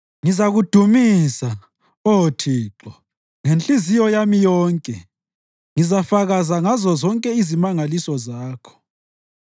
Ngizakudumisa, Oh Thixo, ngenhliziyo yami yonke; ngizafakaza ngazozonke izimangaliso zakho.